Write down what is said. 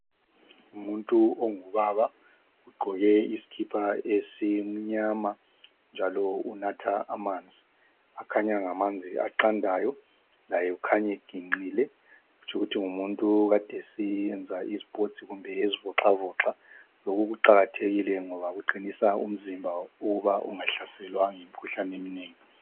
Umuntu ongubaba ugqoke isikipa esimnyama njalo unatha amanzi. Akhanya engamanzi aqandayo. Laye ukhanya eginqile. Kutsho ukuthi ngumuntu okade seyenza isports kumbe ezivoxavoxa. Lokhu kuqakathekile ngoba kuqinisa umzimba ukuba ungahlaselwa yimkhuhlane eminengi.